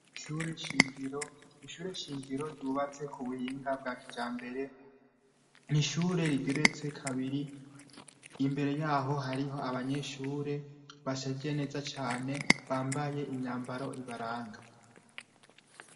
Sgishure shingiro ryubatse ku buhinga bwa kija mbere nishure rigeretse kabiri imbere yaho hariho abanyeshure bashajiye neza cane bambaye imyambaro ibaranga.